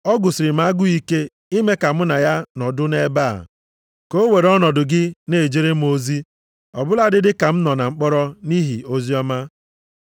Ọ gụsịrị m agụụ ike ime ka mụ na ya nọdụ nʼebe a, ka o were ọnọdụ gị na-ejere m ozi ọ bụladị dị ka m nọ na mkpọrọ nʼihi oziọma.